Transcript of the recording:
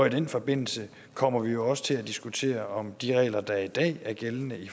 i den forbindelse kommer vi jo også til at diskutere om de regler der i dag er gældende i